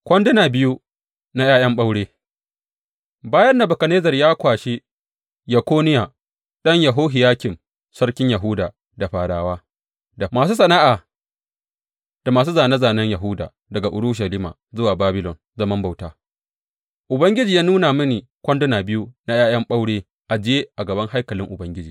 Kwanduna biyu na ’ya’yan ɓaure Bayan Nebukadnezzar ya kwashi Yekoniya ɗan Yehohiyakim sarkin Yahuda da fadawa, da masu sana’a da masu zane zanen Yahuda daga Urushalima zuwa Babilon zaman bauta, Ubangiji ya nuna mini kwanduna biyu na ’ya’yan ɓaure ajiye a gaban haikalin Ubangiji.